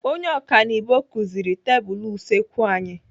Onye ọkanibo kụziri tebụlụ usekwu anyi.